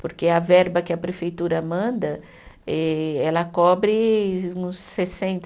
Porque a verba que a prefeitura manda, eh ela cobre uns sessenta